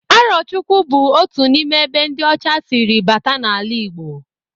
Arọchukwu bụ otu n'ime ebe ndị ọcha siri bata n'ala Igbo.